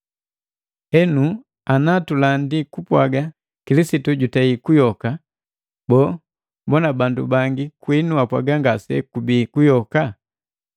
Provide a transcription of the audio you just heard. Henu ana tulandi kupwaga Kilisitu jutei kuyoka, boo, mbona bandu bangi kwinu apwaga ngasekubii kuyoka?